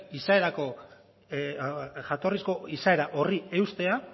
jatorrizko izaera horri eustea